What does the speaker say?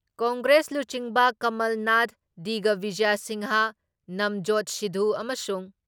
Congress ꯂꯨꯆꯤꯡꯕ ꯀꯝꯃꯜꯅꯥꯊ ꯗꯤꯒꯕꯤꯖꯌ ꯁꯤꯡꯍ, ꯅꯕꯖꯣꯠ ꯁꯤꯙꯨ ꯑꯃꯁꯨꯡ